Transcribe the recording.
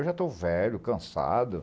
Eu já estou velho, cansado.